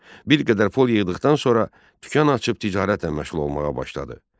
Bir qədər pul yığdıqdan sonra dükan açıb ticarətlə məşğul olmağa başladı.